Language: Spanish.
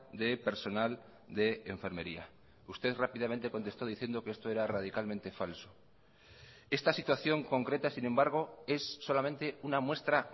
de personal de enfermería usted rápidamente contestó diciendo que esto era radicalmente falso esta situación concreta sin embargo es solamente una muestra